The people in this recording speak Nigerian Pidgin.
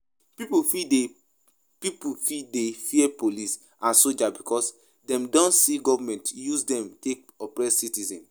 Pipo fit dey Pipo fit dey fear police and soldier because dem don see government use dem take oppress citizens